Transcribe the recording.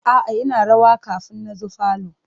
A'a ina rawa kafin na zo falo.